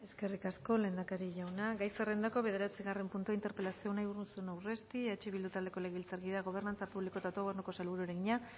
eskerrik asko lehendakari jauna gai zerrendako bederatzigarren puntua interpelazioa unai urruzuno urresti eh bildu taldeko legebiltzarkideak gobernantza publiko eta autogobernuko sailburuari egina